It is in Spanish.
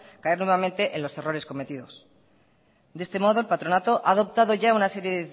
caer nuevamente en los errores cometidos de este modo el patronato ha adoptado ya una serie